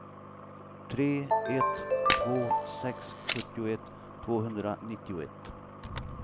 tre ett två sex sjuttioett tvåhundranittioett